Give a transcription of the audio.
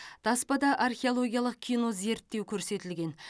таспада археологиялық кинозерттеу көрсетілген